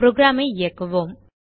programஐ இயக்குவோம்